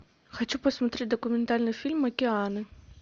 хочу посмотреть документальный фильм океаны